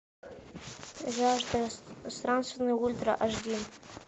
жажда странствий ультра аш ди